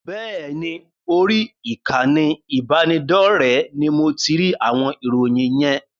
Bẹ́ẹ̀ ni, orí ìkànnì ìbánidọ́rẹ̀ẹ́ ní mo ti rí àwọn ìròyìn yen.